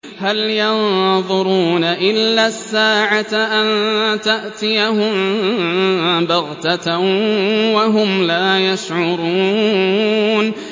هَلْ يَنظُرُونَ إِلَّا السَّاعَةَ أَن تَأْتِيَهُم بَغْتَةً وَهُمْ لَا يَشْعُرُونَ